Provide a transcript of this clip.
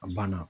A banna